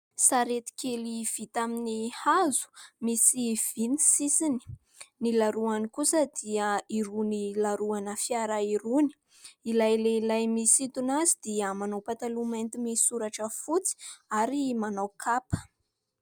Sarety kely vita amin'ny hazo, misy vy ny sisiny. Ny laroany kosa dia irony laroana fiara irony. Ilay lehilahy misintona azy dia manao pataloha mainty misy soratra fotsy ary manao kapa.